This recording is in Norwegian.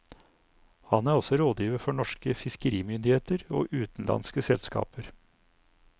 Han er også rådgiver for norske fiskerimyndigheter og utenlandske selskaper.